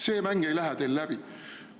See mäng ei lähe teil läbi!